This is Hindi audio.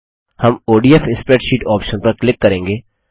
हम ओडीएफ स्प्रेडशीट ऑप्शन पर क्लिक करेंगे